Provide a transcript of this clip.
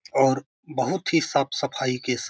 और बहुत ही साफ़-सफाई के --